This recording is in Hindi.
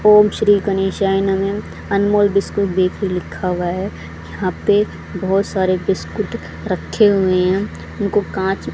ओम श्री गणेशाय नमः अनमोल बिस्कुट बेकरी लिखा हुआ है यहां पे बहुत सारे बिस्कुट रखे हुए हैं इनको कांच--